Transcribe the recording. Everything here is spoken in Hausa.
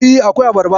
E, akwai abarba.